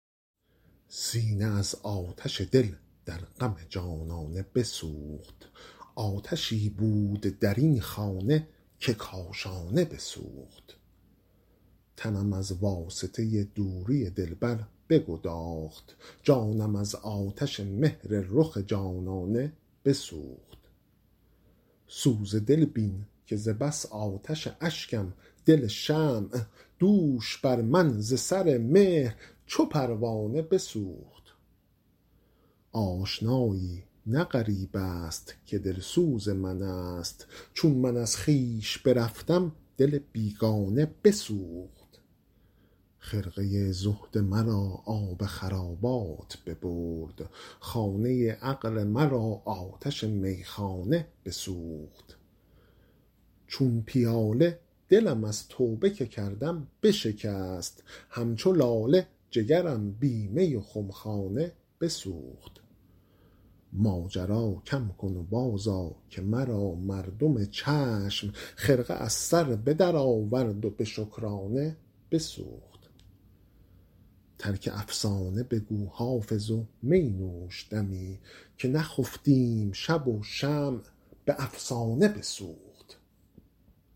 سینه از آتش دل در غم جانانه بسوخت آتشی بود در این خانه که کاشانه بسوخت تنم از واسطه دوری دلبر بگداخت جانم از آتش مهر رخ جانانه بسوخت سوز دل بین که ز بس آتش اشکم دل شمع دوش بر من ز سر مهر چو پروانه بسوخت آشنایی نه غریب است که دلسوز من است چون من از خویش برفتم دل بیگانه بسوخت خرقه زهد مرا آب خرابات ببرد خانه عقل مرا آتش میخانه بسوخت چون پیاله دلم از توبه که کردم بشکست همچو لاله جگرم بی می و خمخانه بسوخت ماجرا کم کن و بازآ که مرا مردم چشم خرقه از سر به درآورد و به شکرانه بسوخت ترک افسانه بگو حافظ و می نوش دمی که نخفتیم شب و شمع به افسانه بسوخت